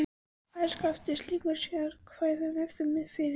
Farið skal eftir slíkum sérákvæðum ef þau eru fyrir hendi.